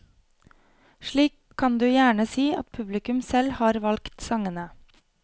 Slik kan du gjerne si at publikum selv har valgt sangene.